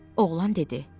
Oğlan dedi: